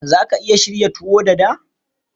Za ka iya shirya tuwo Dada?